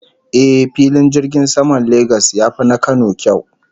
Eh, Filin jirgin saman Lagos ya fi na Kano kyau